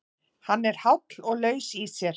Hann er háll og laus í sér.